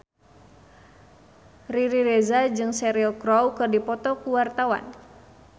Riri Reza jeung Cheryl Crow keur dipoto ku wartawan